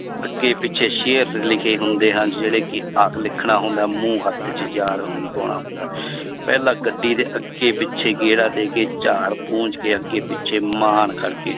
ਅੱਗੇ ਪਿੱਛੇ ਸ਼ੇਰ ਲਿਖੇ ਹੁੰਦੇ ਹਨ ਜਿਹੜੇ ਕਿ ਲਿਖਣਾ ਹੁੰਦਾ ਹੈ ਮੂੰਹ ਹੱਥ 'ਚ ਪਾਉਣਾ ਹੁੰਦਾ ਹੈ ਪਹਿਲਾਂ ਗੱਡੀ ਦੇ ਅੱਗੇ ਪਿੱਛੇ ਗੇੜਾ ਦੇ ਕੇ ਝਾੜ ਪੂੰਝ ਕੇ ਅੱਗੇ ਪਿੱਛੇ ਮਾਣ ਕਰਕੇ